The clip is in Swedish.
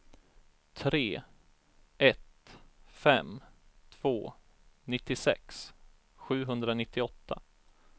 tre ett fem två nittiosex sjuhundranittioåtta